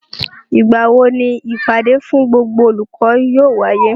Ìgbà wo ni ìpàdé fún gbogbo olùkọ́ yóò wáyé?